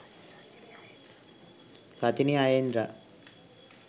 sachini ayendra